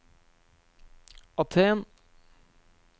Aten